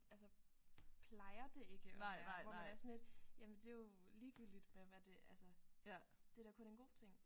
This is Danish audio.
Altså plejer det ikke at være hvor man er sådan lidt jamen det er jo ligegyldigt hvem er det altså det er da kun en god ting